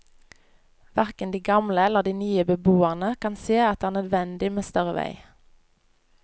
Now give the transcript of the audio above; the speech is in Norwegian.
Hverken de gamle eller de nye beboerne kan se at det er nødvendig med større vei.